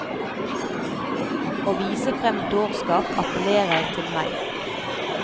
Å vise frem dårskap appellerer til meg.